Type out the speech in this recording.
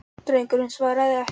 Drengurinn svaraði ekki.